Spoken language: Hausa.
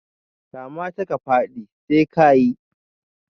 Kamata ka fadi, sai ka yi